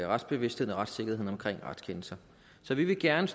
retsbevidstheden og retssikkerheden omkring retskendelser så vi vil gerne